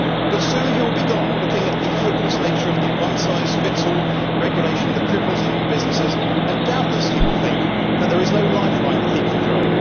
But soon he will be gone, looking at the hopeless nature of the one size fits all regulation that cripples EU businesses, and doubtless he will think that there is no lifeline that he can throw.